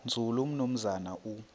nzulu umnumzana u